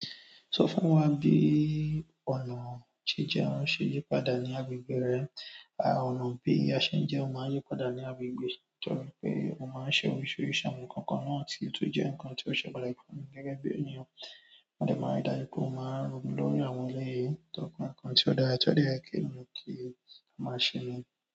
Sọ fún wa bí ọ̀nà jíjẹ ṣe yí padà ní agbègbè rẹ. Ọ̀nà bí a ṣe ń jẹun máa ń yí padà ní agbègbè. Torí pé mó máa ń ṣe oríṣiríṣi àwọn ǹkan kan náà tí ó tun jẹ́ ǹkankan tí ó ṣe pàtàkì fún gẹ́gẹ́ bí ènìyàn. Mo dẹ̀ máa ri dáju pe mo máa ń ronú lórí àwọn eleyii torí pé ǹkan tí ó dára, tọ́ de ye ènìyàn kí o máa ṣe ni.